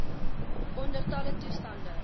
onder alle toestande